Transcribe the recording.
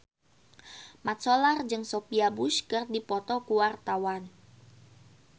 Mat Solar jeung Sophia Bush keur dipoto ku wartawan